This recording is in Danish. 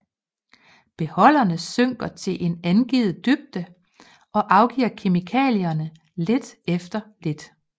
Beholderne synker til en angivet dybde og afgiver kemikalierne lidt efter lidt